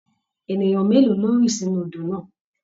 Ènìyàn mélòó ló rì sínú odò náà?